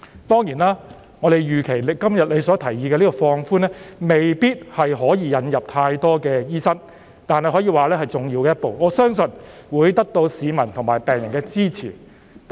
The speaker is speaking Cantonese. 當然，我們預期你今天提出的放寬措施，未必能夠引入大量醫生，但這可以說是重要的一步，我相信會得到市民和病人支持。